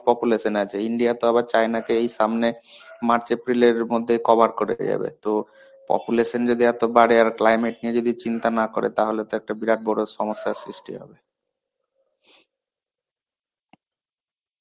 population আছে. India তো আবার China কে এই সামনে March April এর মধেই cover তো, population যদি এত বাড়ে আর climate নিয়ে যদি চিন্তা না করে তাহলে তো একটা বিরাট বড় সমস্যা সৃষ্ঠি হবে.